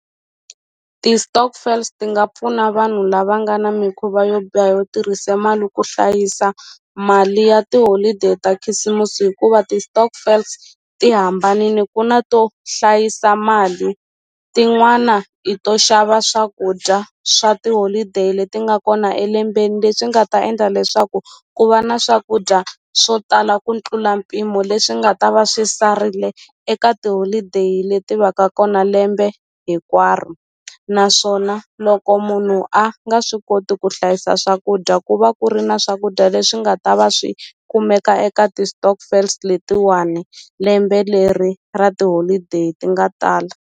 Ti-stokvels ti nga pfuna vanhu lava nga na mikhuva yo biha yo tirhisa mali ku hlayisa mali ya tiholideyi ta khisimusi hikuva ti-stokvels ti hambanini ku na to hlayisa mali tin'wana i to xava swakudya swa tiholideyi leti nga kona elembeni leswi nga ta endla leswaku ku va na swakudya swo tala ku tlula mpimo leswi nga ta va swi sarile eka tiholideyi leti va ka kona lembe hikwaro naswona loko munhu a nga swi koti ku hlayisa swakudya ku va ku ri na swakudya leswi nga ta va swi kumeka eka ti-stokvels letiwani lembe leri ra tiholideyi ti nga tala.